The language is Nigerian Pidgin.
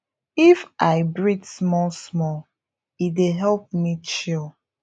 if i breathe small small e dey help me chill